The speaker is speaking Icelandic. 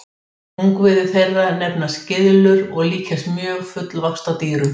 Ungviði þeirra nefnast gyðlur og líkjast mjög fullvaxta dýrum.